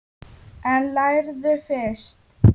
En lærðu fyrst.